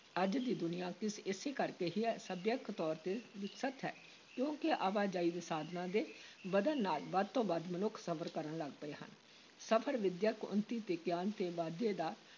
ਅੱਜ ਦੀ ਦੁਨੀਆ ਇਸ ਇਸੇ ਕਰਕੇ ਹੀ ਸਭਿਅਕ ਤੌਰ ‘ਤੇ ਵਿਕਸਿਤ ਹੈ, ਕਿਉਂਕਿ ਆਵਾਜਾਈ ਦੇ ਸਾਧਨਾਂ ਦੇ ਵੱਧਣ ਨਾਲ ਵੱਧ ਤੋਂ ਵੱਧ ਮਨੁੱਖ ਸਫ਼ਰ ਕਰਨ ਲੱਗ ਪਏ ਹਨ, ਸਫ਼ਰ ਵਿੱਦਿਅਕ ਉੱਨਤੀ ਤੇ ਗਿਆਨ ਦੇ ਵਾਧੇ ਦਾ